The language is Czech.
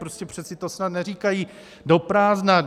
Prostě přece to snad neříkají do prázdna.